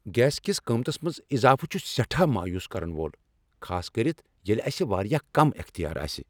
Gas کس قیمتس منز اضافہٕ چھ سیٹھاہ مایوس کرن وول، خاصکرتھ ییٚلہ اسہ واریاہ کم اختیار آسہ۔